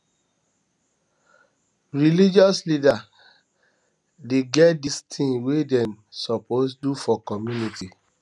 religious leaders dey get di tins wey dem suppose dey do for community